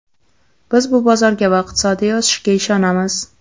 Biz bu bozorga va iqtisodiy o‘sishga ishonamiz.